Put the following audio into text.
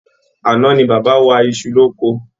Àná ní bàbá wa isu l'oko.